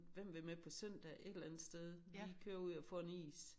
Hem vil med på søndag et eller andet sted lige køre ud og få en is